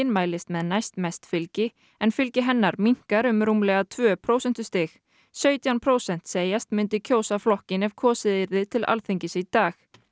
mælist með næstmest fylgi en fylgi hennar minnkar um rúmlega tvö prósentustig sautján prósent segjast myndu kjósa flokkinn ef kosið yrði til Alþingis í dag